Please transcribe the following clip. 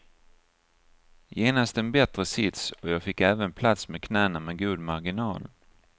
Genast en bättre sits och jag fick även plats med knäna med god marginal.